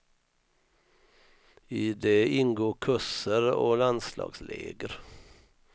I det ingår kurser och landslagsläger.